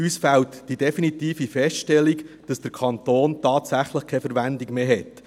Uns fehlt die definitive Feststellung, dass der Kanton tatsächlich keine Verwendung mehr hat.